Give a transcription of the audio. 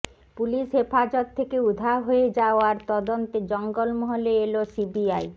police হেফাজত থেকে উধাও হয়ে যাওয়ার তদন্তে জঙ্গলমহলে এল সিবিআই